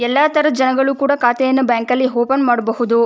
ಎಲ್ಲಾ ತರದ ಜನಗಳು ಕೂಡ ಖಾತೆಯನ್ನು ಬ್ಯಾಂಕ್ ಲಿ ಓಪನ್ ಮಾಡಬಹುದು.